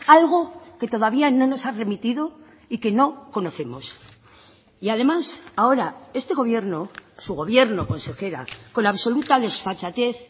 algo que todavía no nos ha remitido y que no conocemos y además ahora este gobierno su gobierno consejera con absoluta desfachatez